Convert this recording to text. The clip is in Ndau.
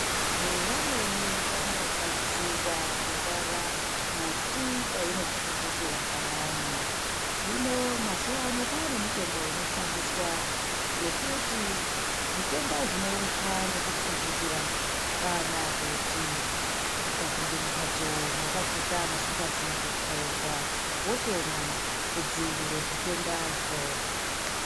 Vantu vamweni vanobatsirwa kurwara muti painopfupfutira payani hino mazuwa ano kwane mitombo inoshandiswa yekuti zvitenda zvinounzwa nekupfupfutira kana ukapinda mumatso makashata musingazi kutsvairwa wotomwa kudziirira zvitendazvo.